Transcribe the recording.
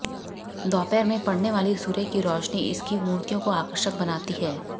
दोपहर में पड़ने वाली सूर्य की रोशनी इसकी मूर्तियों को आकर्षक बनाती है